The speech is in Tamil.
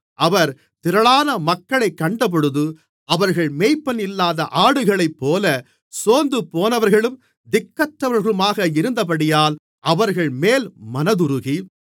அவர் திரளான மக்களைக் கண்டபொழுது அவர்கள் மேய்ப்பனில்லாத ஆடுகளைப்போல சோர்ந்துபோனவர்களும் திக்கற்றவர்களுமாக இருந்தபடியால் அவர்கள்மேல் மனதுருகி